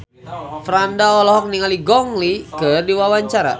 Franda olohok ningali Gong Li keur diwawancara